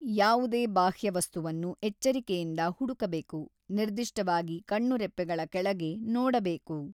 ಯಾವುದೇ ಬಾಹ್ಯವಸ್ತುವನ್ನು ಎಚ್ಚರಿಕೆಯಿಂದ ಹುಡುಕಬೇಕು, ನಿರ್ದಿಷ್ಟವಾಗಿ ಕಣ್ಣುರೆಪ್ಪೆಗಳ ಕೆಳಗೆ ನೋಡಬೇಕು.